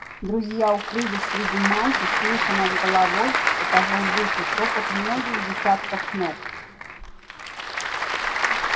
друзья укрылись среди мантий слыша над головой этажом выше топот многих десятков ног